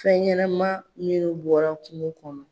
Fɛn ɲɛnama minnu bɔra kungo kɔnɔ